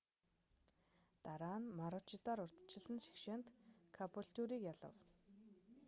дараа нь марүүчидор урьдчилсан шигшээд кабүүлтюриг ялав